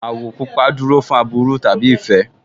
Àwọ̀ pupa dúró fún aburú tàbí ìfẹ́